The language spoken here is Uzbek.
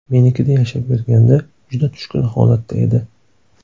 Menikida yashab yurganda juda tushkun holatda edi.